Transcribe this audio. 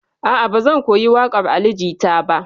A'a, ba zan ka koyi waƙar Ali Jita ba.